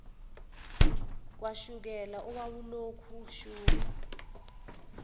kashukela owawulokhu ushunqa